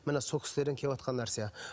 міне сол кісілерден кеватқан нәрсе